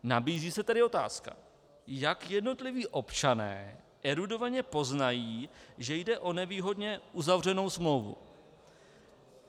Nabízí se tedy otázka, jak jednotliví občané erudovaně poznají, že jde o nevýhodně uzavřenou smlouvu.